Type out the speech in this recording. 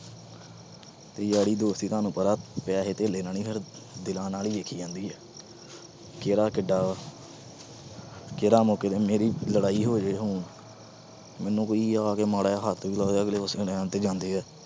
ਯਾਰੀ ਦੋਸਤੀ ਤੋਨੂੰ ਪਤਾ ਪੈਸੇ ਧੈਲੇ ਨਾਲ ਨੀ, ਦਿਲਾਂ ਨਾਲ ਦੇਖੀ ਜਾਂਦੀ ਏ। ਕਿਹੜਾ ਕਿੱਡਾ। ਮੇਰੀ ਮੌਕੇ ਤੇ ਮੇਰੀ ਲੜਾਈ ਹੋ ਜੇ ਹੁਣ। ਮੈਨੂੰ ਕੋਈ ਆ ਕੇ ਮਾੜਾ ਜਾ ਹੱਥ ਵੀ ਲਾ ਦੇ ਉਸ ਵੇਲੇ ਆਂਦੇ ਜਾਂਦੇ ਆ